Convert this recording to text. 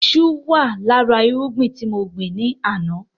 Iṣu wà lára irúgbìn tí mo gbin ni àná